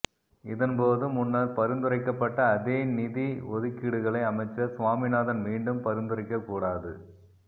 இதன்போது முன்னர் பரிந்துரைக்கப்பட்ட அதே நிதி ஒதுக்கீடுகளை அமைச்சர் சுவாமிநாதன் மீண்டும் பரிந்துரைக்ககூடாது